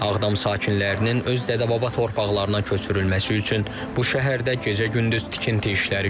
Ağdam sakinlərinin öz dədəbaba torpaqlarına köçürülməsi üçün bu şəhərdə gecə-gündüz tikinti işləri görülür.